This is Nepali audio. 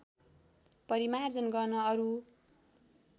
परिमार्जन गर्न अरू